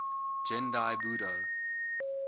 gendai budo